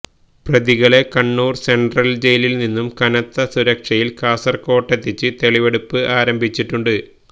പ്രതികളെ കണ്ണൂര് സെന്ട്രല് ജയിലില് നിന്നും കനത്ത സുരക്ഷയില് കാസര്കോട്ടെത്തിച്ച് തെളിവെടുപ്പ് ആരംഭിച്ചിട്ടുണ്ട്